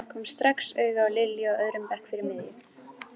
Kom strax auga á Lilju á öðrum bekk fyrir miðju.